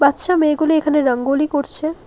বাচ্চা মেয়েগুলি এখানে রঙ্গলি করছে।